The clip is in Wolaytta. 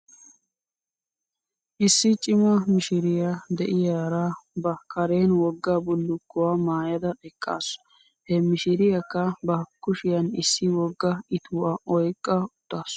Issi cima mishiriyaa de'iyaara ba karen wogga bullukkuwaa maayada eqqasu. He mishiriyaakka ba kushiyan issi wogga ituwaa oyqqa uttasu .